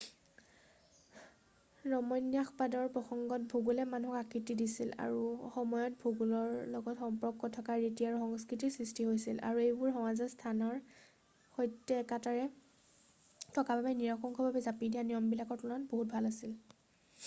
ৰমন্যাসবাদৰ প্ৰসংগত ভূগোলে মানুহক আকৃতি দিছিল আৰু সময়ত ভূগোলৰ লগত সম্পৰ্ক থকা ৰীতি আৰু সংস্কৃতিৰ সৃষ্টি হৈছিল আৰু এইবোৰ সমাজৰ স্থানৰ সৈতে একতাৰে থকা বাবে নিৰঙ্কুশভাৱে জাপি দিয়া নিয়মবিলাকৰ তুলনাত বহুত ভাল আছিল